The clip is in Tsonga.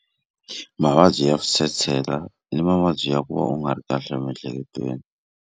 Mavabyi ya switshetshela i mavabyi ya ku va u nga ri kahle emiehleketweni.